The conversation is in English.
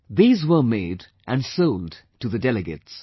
These were made and sold to the delegates